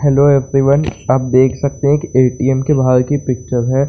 Hello everyone आप देख सकते है ए.टी.एम. के बाहर की पिक्चर है।